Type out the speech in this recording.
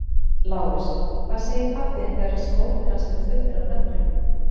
LÁRUS: Hvað segir pabbi þinn þegar skórnir hans eru fullir af nöglum?